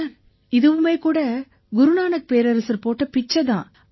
sir இதுவுமே கூட குரு நானக் பேரரசர் போட்ட பிச்சை தான்